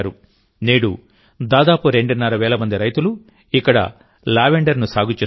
నేడుదాదాపు రెండున్నర వేల మంది రైతులు ఇక్కడ లావెండర్ ను సాగు చేస్తున్నారు